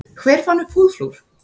Hver fann upp húðflúr?